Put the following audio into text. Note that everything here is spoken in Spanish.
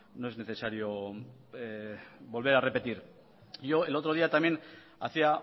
no es necesario volver a repetir yo el otro día también hacía